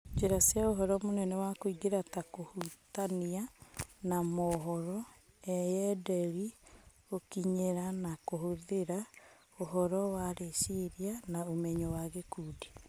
Njĩra ciaũhoro munene wa kũingira ta kũhutania na mohoro, eyenderi gũkinyĩra na kũhũthĩra, ũhoro wa rĩciria na ũmenyo wa gĩkundi.